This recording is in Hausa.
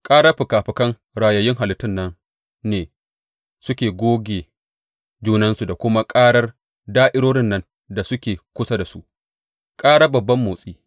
Karar fikafikan rayayyun halittun nan ne suke goge junansu da kuma karar da’irorin nan da suke kusa da su, ƙarar babban motsi.